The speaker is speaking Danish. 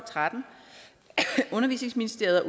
tretten undervisningsministeriet og